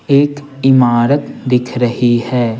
एक इमारत दिख रही है।